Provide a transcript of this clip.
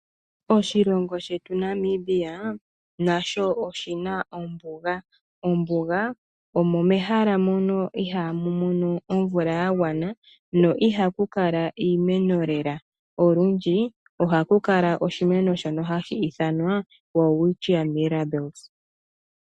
Namibia nasho oshina ombuga. Mombuga omo mehala mono ihaamu mono omvula ya gwana no ihaku kala iimeno lela olundji ohaku kala oshimwno shono hashi ithanwa Welwitschia Mirables.